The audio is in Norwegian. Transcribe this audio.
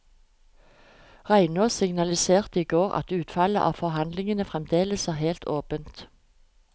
Reinås signaliserte i går at utfallet av forhandlingene fremdeles er helt åpent.